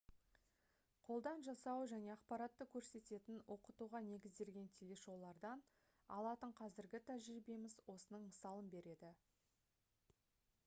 қолдан жасау және ақпаратты көрсететін оқытуға негізделген телешоулардан алатын қазіргі тәжірибеміз осының мысалын береді